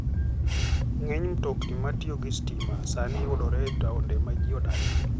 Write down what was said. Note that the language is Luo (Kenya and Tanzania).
Ng'eny mtokni matiyo gi stima sani yudore e taonde ma ji odakie.